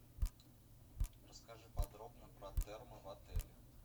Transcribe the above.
расскажи подробно про термы в отеле